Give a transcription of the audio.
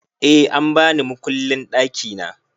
Eh an bani mukullin ɗakina